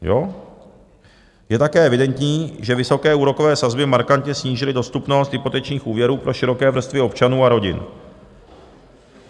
Je také evidentní, že vysoké úrokové sazby markantně snížily dostupnost hypotečních úvěrů pro široké vrstvy občanů a rodin.